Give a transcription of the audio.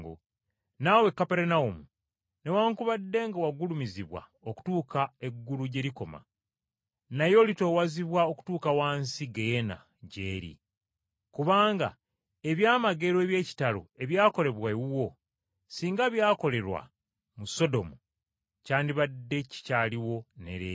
Naawe Kaperunawumu, newaakubadde nga wagulumizibwa okutuuka eggulu gye likoma, naye oliserengesebwa wansi emagombe. Kubanga ebyamagero eby’ekitalo ebyakolebwa ewuwo, singa byakolerwa mu Sodomu, kyandibadde kikyaliwo ne leero.